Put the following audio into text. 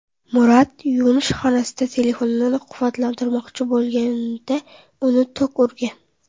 Murat yuvinish xonasida telefonini quvvatlantirmoqchi bo‘lganida, uni tok urgan.